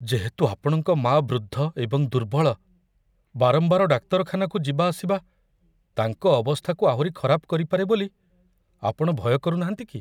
ଯେହେତୁ ଆପଣଙ୍କ ମାଆ ବୃଦ୍ଧ ଏବଂ ଦୁର୍ବଳ, ବାରମ୍ବାର ଡାକ୍ତରଖାନାକୁ ଯିବା ଆସିବା ତାଙ୍କ ଅବସ୍ଥାକୁ ଆହୁରି ଖରାପ କରିପାରେ ବୋଲି ଆପଣ ଭୟ କରୁନାହାନ୍ତି କି?